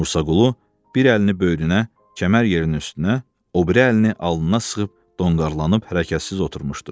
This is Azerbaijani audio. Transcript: Musaqulu bir əlini böyrünə, kəmər yerinin üstünə, o biri əlini alnına sıxıb donqaralanıb hərəkətsiz oturmuşdu.